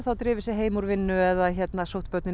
drifið sig heim úr vinnu eða sótt börn í